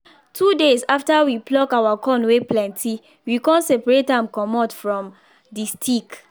two days after we pluck our corn wey plenty we con separate am comot from the stick